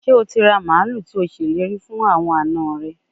Se o ti ra malu to seleri fun awon ana re?